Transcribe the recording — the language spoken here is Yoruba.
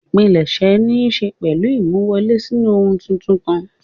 Ìpilẹ̀ṣẹ̀ níṣe pẹ̀lú ìmúwọlè sínú ohun tuntun kan.